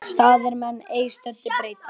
Staðir menn ei stöðu breyta.